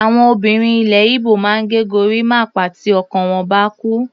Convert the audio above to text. Àwọn obìnrin ilẹ̀ Igbo máa ń ge gorímápá tí ọkọ wọ́n bá kú.